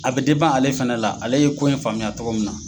A bɛ ale fana la, ale ye ko in faamuyaya tɔgɔ min na.